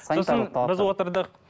сосын біз отырдық